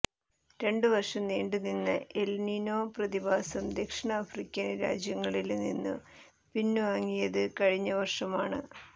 രണ്ട് വര്ഷം നീണ്ടു നിന്ന എല്നിനോ പ്രതിഭാസം ദക്ഷിണ ആഫ്രിക്കന് രാജ്യങ്ങളില് നിന്നും പിന്വാങ്ങിയത് കഴിഞ്ഞ വര്ഷമാണ്